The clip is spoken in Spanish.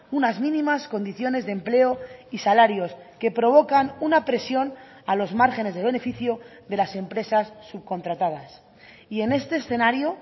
unas mínimas condiciones de empleo y salarios que provocan una presión a los márgenes de beneficio de las empresas subcontratadas y en este escenario